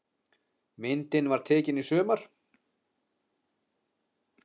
Myndin var tekin í sumar.